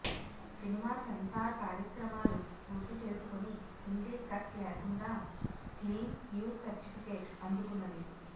cinema censor కార్యక్రమాలు పూర్తి చేసుకొని సింగిల్ కట్ లేకుండా క్లీన్ యు సర్టిఫికేట్ అందుకున్నది